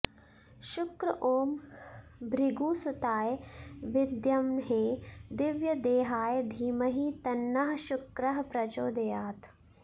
शुक्र ॐ भृगुसुताय विद्महे दिव्यदेहाय धीमहि तन्नः शुक्रः प्रचोदयात्